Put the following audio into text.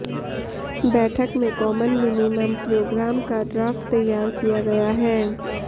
बैठक में common minimum programme का ड्राफ्ट तैयार किया गया है